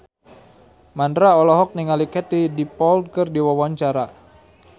Mandra olohok ningali Katie Dippold keur diwawancara